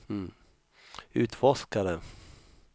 utforskare